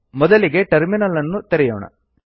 ಮೊದಲಿಗೆ ಟರ್ಮಿನಲ್ ಅನ್ನು ತೆರೆಯೋಣ